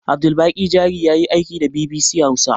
Abdulbaƙi jari yayi aiki da bibisi hausa